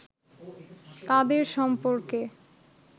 তাঁদের সম্পর্কে